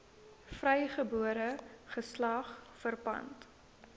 vrygebore geslag verpand